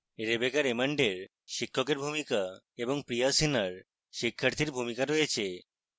rebecca raymond এর শিক্ষকের ভূমিকা এবং priya sinha এর শিক্ষাথীর ভূমিকা রয়েছে